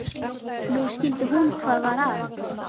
Nú skildi hún hvað var að.